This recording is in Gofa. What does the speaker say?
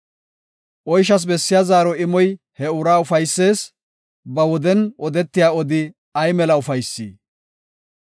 Oyshas bessiya zaaro imoy he uraa ufaysees; ba woden odetiya odi ay mela ufaysi!